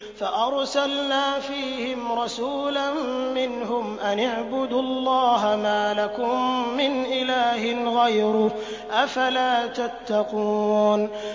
فَأَرْسَلْنَا فِيهِمْ رَسُولًا مِّنْهُمْ أَنِ اعْبُدُوا اللَّهَ مَا لَكُم مِّنْ إِلَٰهٍ غَيْرُهُ ۖ أَفَلَا تَتَّقُونَ